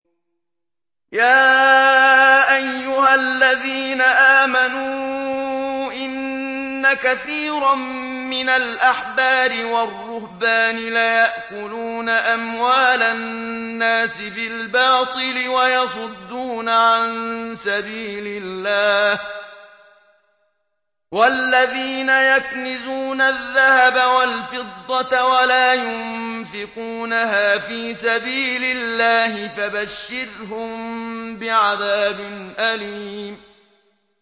۞ يَا أَيُّهَا الَّذِينَ آمَنُوا إِنَّ كَثِيرًا مِّنَ الْأَحْبَارِ وَالرُّهْبَانِ لَيَأْكُلُونَ أَمْوَالَ النَّاسِ بِالْبَاطِلِ وَيَصُدُّونَ عَن سَبِيلِ اللَّهِ ۗ وَالَّذِينَ يَكْنِزُونَ الذَّهَبَ وَالْفِضَّةَ وَلَا يُنفِقُونَهَا فِي سَبِيلِ اللَّهِ فَبَشِّرْهُم بِعَذَابٍ أَلِيمٍ